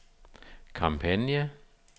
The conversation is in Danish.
kampagne